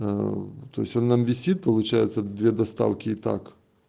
ээто то есть он нам висит получается две доставки и так